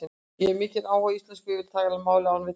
Ég hef mikinn áhuga á íslensku og ég vil tala málið án villna.